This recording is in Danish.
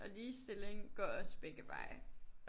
Og ligestilling går også begge veje